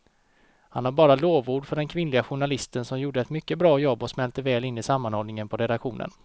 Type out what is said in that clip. Han har bara lovord för den kvinnliga journalisten som gjorde ett mycket bra jobb och smälte väl in i sammanhållningen på redaktionen.